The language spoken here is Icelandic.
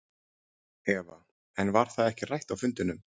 Eva: En var það ekki rætt á fundinum?